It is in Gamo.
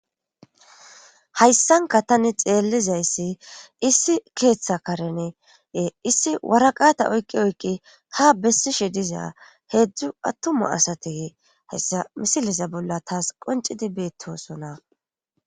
hayssanka tani xeellizayssi issi keeththa karenee issi waraqata oykqi oykqi ha bessishe dizaa heedzdzu attuma asate hessa misiliza bolla taas qoncidi beettosona